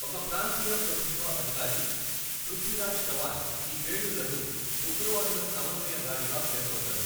ఒక ప్రాంతీయ ప్రభుత్వ అధికారి, పృథ్వీరాజ్ చవాన్, ఈ పేలుళ్లను 'ఉగ్రవాదుల సమన్వయ దాడి'గా పేర్కొన్నారు.